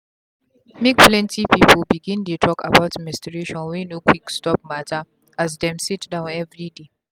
make plenty people begindey talk about menstruation wey no quick stop matter as dem sitdown everyday.